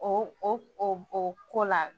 O o o ko la